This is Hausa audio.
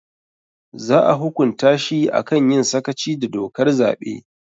Za a hukunta shi a kan yin sakaci da dokar zaɓe